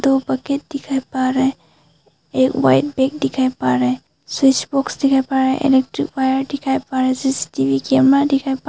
दो बकेट दिख पड़ रहे है एक वाइट बैग दिखाई पड़ रहे है स्विच बॉक्स दिखाई पड़ रहे है इलेक्ट्रिक वायर दिखाई पड़ रहा है सी_सी_टी_वी कैमरा दिखाई प--